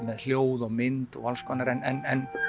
hljóð og mynd og alls konar en